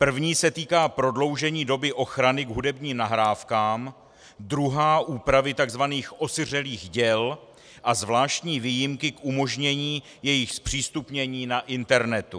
První se týká prodloužení doby ochrany k hudebním nahrávkám, druhá úpravy tzv. osiřelých děl a zvláštní výjimky k umožnění jejich zpřístupnění na internetu.